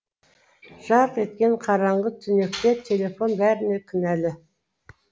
жарқ еткен қараңғы түнекте телефон бәріне кінәлі